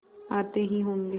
आते ही होंगे